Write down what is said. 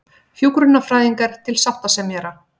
Hjúkrunarfræðingar til ríkissáttasemjara